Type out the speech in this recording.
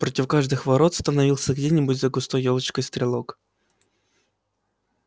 против каждых ворот становился где-нибудь за густой ёлочкой стрелок